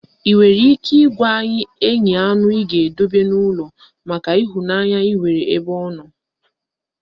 Ị nwere ike ị gwa anyị anụ ị ga-edobe n'ụlọ maka ịhụnanya ị nwere ebe ọ nọ?